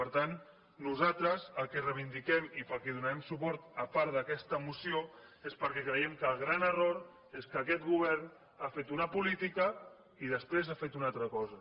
per tant nosaltres el que reivindiquem i per què hi donarem suport a part d’aquesta moció és perquè creiem que el gran error és que aquest govern ha fet una política i després ha fet una altra cosa